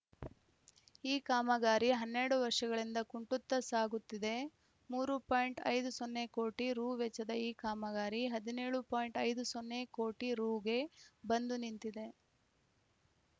ಈ ಕಾಮಗಾರಿ ಹನ್ನೆರಡು ವರ್ಷಗಳಿಂದ ಕುಂಟುತ್ತಾ ಸಾಗುತ್ತಿದೆ ಮೂರು ಪಾಯಿಂಟ್ ಐದು ಸೊನ್ನೆ ಕೋಟಿ ರೂ ವೆಚ್ಚದ ಈ ಕಾಮಗಾರಿ ಹದಿನೇಳು ಪಾಯಿಂಟ್ ಐದು ಸೊನ್ನೆ ಕೋಟಿ ರೂಗೆ ಬಂದು ನಿಂತಿದೆ